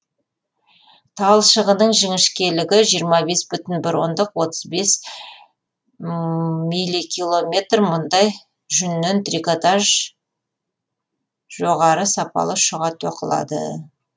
талшығының жіңішкелігі жиырма бес бүтін бір ондық отыз бес миликилометр мұндай жүннен трикотаж жоғары сапалы шұға тоқылады